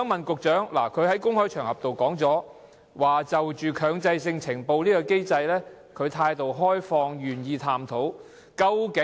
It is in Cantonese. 局長曾在公開場合說，他對於強制性呈報機制持開放態度，並願意探討。